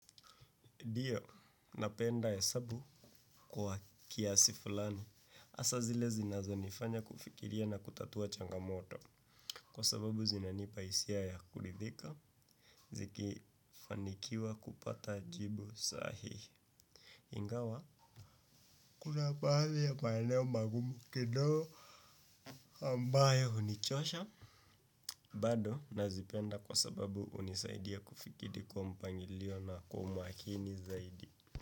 Ndio, napenda hesabu kwa kiasi fulani. Hasa zile zinazo nifanya kufikiria na kutatua changamoto. Kwa sababu zinanipa hisia ya kuridhika. Zikifanikiwa kupata jibu sahihi. Ingawa kuna baadhi ya maeneo mangumu kidogo ambayo hunichosha bado nazipenda kwa sababu hunisaidia kufikiri kwa mpangilio na kwaa umakini zaidi.